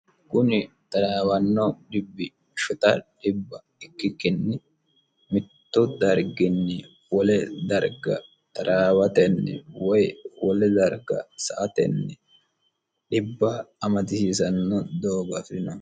kuni taraawanno dhibbi ikkikkin mittu darginni wole darga taraawatenni woy wole darka sa'atenni dhibba amadisiisanno doogo afirinoho